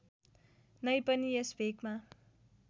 नै पनि यस भेकमा